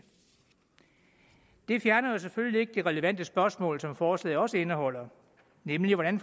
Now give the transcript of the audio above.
det fjerner jo selvfølgelig ikke de relevante spørgsmål som forslaget også indeholder nemlig hvordan